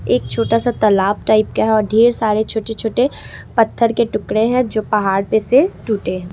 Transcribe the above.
एक छोटा सा तालाब टाइप का है और ढेर सारे छोटे छोटे पत्थर के टुकड़े हैं जो पहाड़ पर से टूटे।